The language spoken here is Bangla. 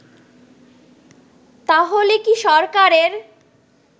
তাহলে কি সরকারের